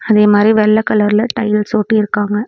அதே மாறி வெள்ள கலர்ல டைல்ஸ் ஒட்டி இருக்காங்க.